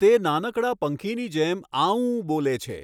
તે નાનકડા પંખીની જેમ આઉં બોલે છે!